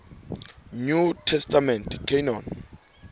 new testament canon